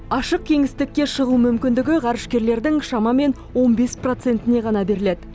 ашық кеңістікке шығу мүмкіндігі ғарышкерлердің шамамен он бес процентіне ғана беріледі